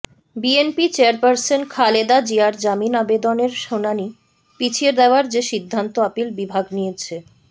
BNP chairperson Khaleda জিয়ার জামিন আবেদনের শুনানি পিছিয়ে দেয়ার যে সিদ্ধান্ত আপিল বিভাগ নিয়েছে